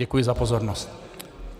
Děkuji za pozornost.